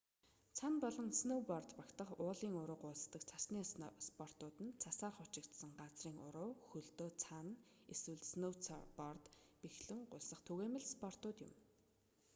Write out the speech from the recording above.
цана болон снөүборд багтах уулын уруу гулсдаг цасны спортууд нь цасаар хучигдсан газрын уруу хөлдөө цана эсвэл снөүцорд бэхлэн гулсах түгээмэл спортууд юм